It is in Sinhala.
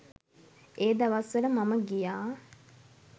ඒ දවස්වල මම ගියා.